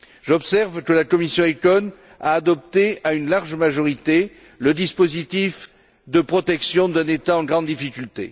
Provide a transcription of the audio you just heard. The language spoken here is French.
J'observe que la commission ECON a adopté à une large majorité le dispositif de protection d'un État en grande difficulté.